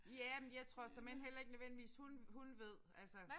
Ja men jeg tror såmænd heller ikke nødvendigvis hun hun ved altså